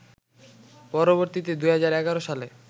পরবর্তীতে ২০১১ সালে